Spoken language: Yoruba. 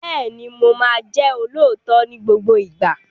Bẹ́ẹ̀ni, Mo ma jẹ́ olóòótọ́ ni gbogbo ìgbà